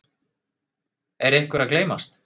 Er einhver að gleymast?